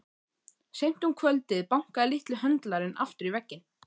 Seint um kvöldið bankaði litli höndlarinn aftur í vegginn.